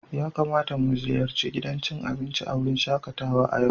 Ya kamata mu ziyarci gidan cin abinci a wurin shakatawa a yau?